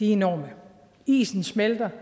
enorme isen smelter